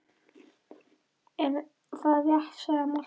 Ekki er það rétt, sagði Marteinn.